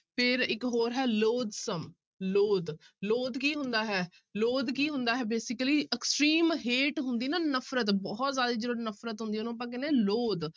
ਫਿਰ ਇੱਕ ਹੋਰ ਹੈ loathsome, loath loath ਕੀ ਹੁੰਦਾ ਹੈ loath ਕੀ ਹੁੰਦਾ ਹੈ basically extreme hate ਹੁੰਦੀ ਨਾ ਨਫ਼ਰਤ ਬਹੁਤ ਜ਼ਿਆਦਾ ਜਦੋਂ ਨਫ਼ਰਤ ਹੁੰਦੀ ਹੈ ਉਹਨੂੰ ਆਪਾਂ ਕਹਿੰਦੇ ਹਾਂ loath